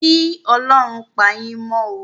Kí Ọlọ́run pà yín mó o